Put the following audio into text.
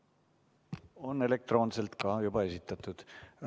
Eelnõu on elektroonselt juba esitatud.